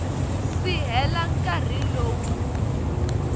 si hela nkarhi lowu wu